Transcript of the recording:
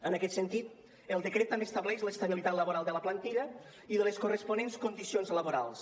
en aquest sentit el decret també estableix l’estabilitat laboral de la plantilla i de les corresponents condicions laborals